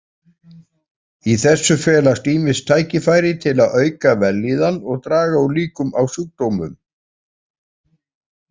Í þessu felast ýmis tækifæri til að auka vellíðan og draga úr líkum á sjúkdómum.